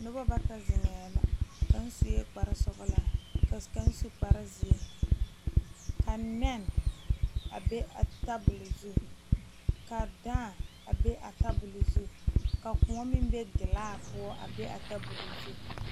noba bata zeŋee la kaŋ sue kpar zeɛ ka kaŋ su kpar sɔglaa ka nɛne a be a tabol zu ka daa a be a tabol zu ka Kóɔ meŋ be felaa poɔ a be a tabol zu